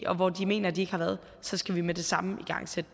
og hvor de mener de ikke har været så skal vi med det samme igangsætte